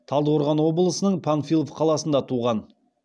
талдықорған облысының панфилов қаласында туған